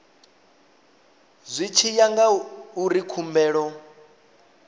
zwi tshi ya ngauri khumbelo